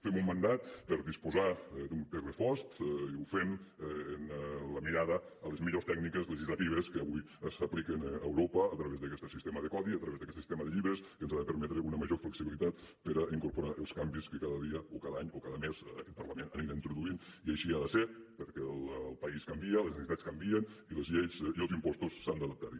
fem un mandat per disposar d’un text refós i ho fem amb la mirada a les millors tècniques legislatives que avui s’apliquen a europa a través d’aquest sistema de codi a través d’aquest sistema de llibres que ens ha de permetre una major flexibilitat per incorporar els canvis que cada dia o cada any o cada mes aquest parlament anirà introduint i així ha de ser perquè el país canvia les necessitats canvien i les lleis i els impostos s’han d’adaptar hi